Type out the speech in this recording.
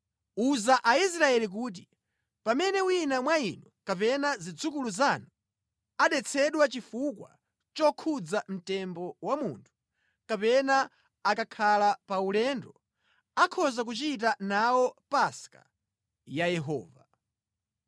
“Uza Aisraeli kuti, ‘Pamene wina mwa inu kapena zidzukulu zanu adetsedwa chifukwa chokhudza mtembo wa munthu, kapena akakhala pa ulendo, akhoza kuchita nawo Paska ya Yehova.